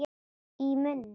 Í munni